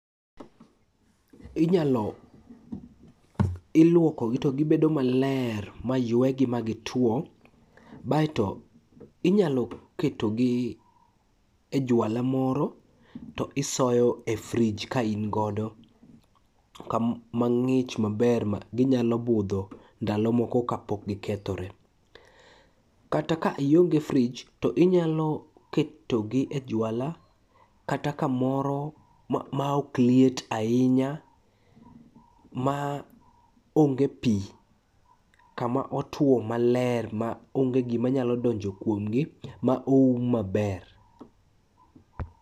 Ilwokogi to gibedo maler ma ywegi magitwo, baeto inyalo ketogi e juala moro to isoyo e frij kaingodo kama ng'ich maber ma ginyalo budho ndalo moko kapok gikethore. Kata ka ionge frij, to inyalo ketogi e juala kata kamoro maok liet ahinya ma onge pi kama otwo maler maonge gima nyalo donjo kuomgi ma oum maber.